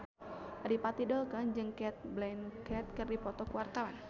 Adipati Dolken jeung Cate Blanchett keur dipoto ku wartawan